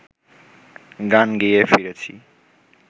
গান গেয়ে ফিরেছি